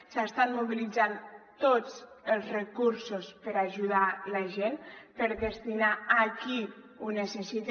s’estan mobilitzant tots els recursos per ajudar la gent per destinar ho a qui ho necessita